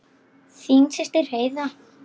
Þín systir Heiða.